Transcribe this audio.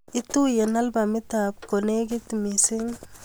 Ituyen albumit ab kolekit mising'